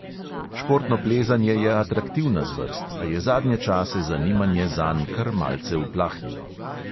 Športno plezanje je atraktivna zvrst, a je zadnje čase zanimanje zanj kar malce uplahnilo.